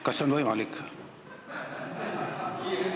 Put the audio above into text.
Kas see on võimalik?